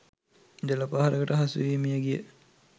ජල පහරකට හසුවී මිය ගිය